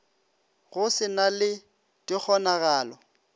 go se na le dikgonagalo